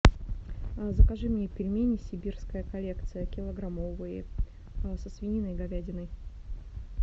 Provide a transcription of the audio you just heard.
закажи мне пельмени сибирская коллекция килограммовые со свининой и говядиной